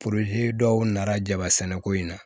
dɔw nana jaba sɛnɛ ko in na